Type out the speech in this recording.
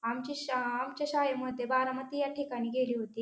आमची शा आमच्या शाळेमध्ये बारामती या ठिकाणी गेली होती.